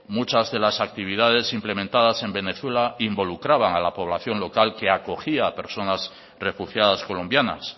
muchas de las actividades implementadas en venezuela involucraban a la población local que acogía a personas refugiadas colombianas